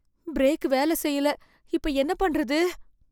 Break வேலை செய்யல. இப்ப என்ன பண்றது?